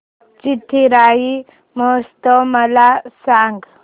चिथिराई महोत्सव मला सांग